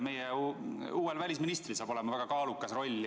Meie uuel välisministril saab olema väga kaalukas roll.